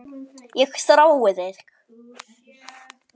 Ég þrái þig